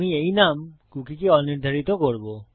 আমি এই নাম কুকীকে অনির্ধারিত করব